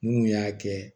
Mun y'a kɛ